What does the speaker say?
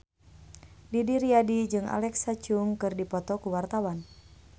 Didi Riyadi jeung Alexa Chung keur dipoto ku wartawan